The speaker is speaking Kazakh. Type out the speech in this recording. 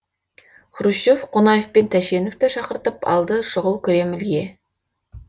хрущев қонаев пен тәшеневты шақыртып алды шұғыл кремльге